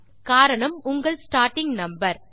காரணம் உங்கள் starting number